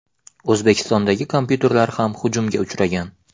O‘zbekistondagi kompyuterlar ham hujumga uchragan.